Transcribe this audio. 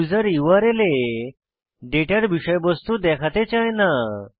user URL এ ডেটার বিষয়বস্তু দেখাতে চায় না